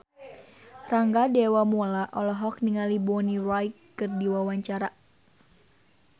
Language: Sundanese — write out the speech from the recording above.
Rangga Dewamoela olohok ningali Bonnie Wright keur diwawancara